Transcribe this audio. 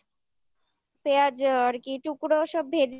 পেঁয়াজ আর কি টুকরো ওসব ভেজে নিয়ে তারপরে ধর ওই তিনটে